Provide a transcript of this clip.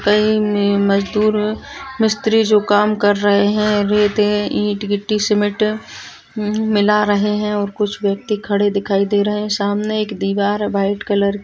कई म-मजदूर मिस्त्री जो काम कर रहे है रेते ईट गिट्टी सीमेंट मिला रहे है और कुछ व्यक्ति खड़े दिखाई दे रहे है सामने एक दीवार व्हाइट कलर की --